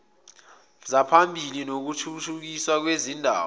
zaphambilini zokuthuthukiswa kwezindawo